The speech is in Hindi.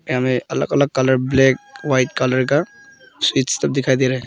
यहां में अलग अलग कलर ब्लैक वाइट कलर का स्वीट्स सब दिखाई दे रहा है।